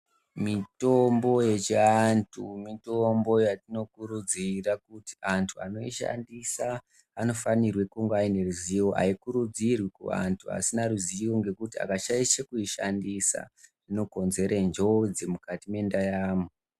Mitombo yechiantu mitombo yatinokurudzira kuti antu anoishandisa anofanirwe kunge aine ruzivo. Haikurudzirwi kuvantu asina ruzivo ngekuti akashaishe kuishandisa inokonzere njodzi mukati mendaramo.